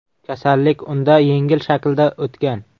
Kasallik unda yengil shaklda o‘tgan.